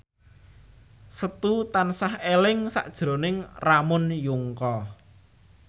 Setu tansah eling sakjroning Ramon Yungka